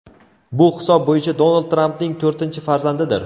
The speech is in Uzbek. Bu hisob bo‘yicha Donald Trampning to‘rtinchi farzandidir.